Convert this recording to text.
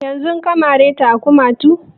Yanzun ka mare ta a kumatu?